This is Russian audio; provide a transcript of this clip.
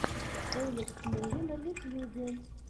элекс муви на ютьюбе